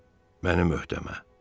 Mənim öhdəmə.